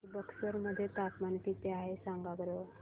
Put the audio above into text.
आज बक्सर मध्ये तापमान किती आहे सांगा बरं